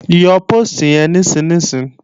Yọ póòstì yẹn nísinsìnyí!